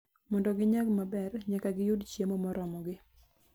Mondo ginyag maber, nyaka giyud chiemo moromogi.